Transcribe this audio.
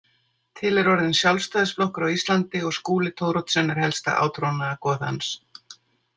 Til er orðinn Sjálfstæðisflokkur á Íslandi og Skúli Thoroddsen er helsta átrúnaðargoð hans.